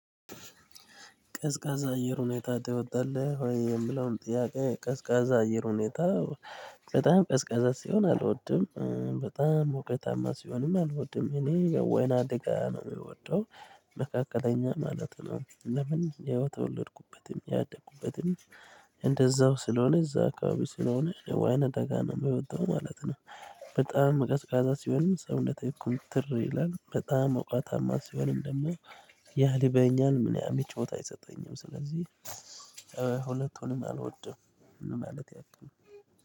ቀዝቃዛ አየር ሁኔታ ትወዳለህ ወይ? የምለውን ጥያቄ ቀዝቃዛ አየር ሁኔታ በጣም ቀዝቃዛ ሲሆን አልወድም በጣም ሙቀታማ ሲሆንም አልወድም እኔ ወይናደጋ ነው ምወደው መካከለኛ ማለት ነው። ለምን የተወለድኩበትም ያደግኩበትም እንደዛ ስለሆነ እዛ አካባቢ ስለሆነ ወይነ አደጋ ነው ምወደው ማለት ነው። በጣም ቀዝቃዛ ሲሆንም ሰውነት ኩምትር ይላል በጣም ሞቀታማ ሲሆንም ደግሞ ያልበኛን ምቾት አይሰጠኝም ስለዚህ። ሁለቱንም አልወድም ለማለት ያክል።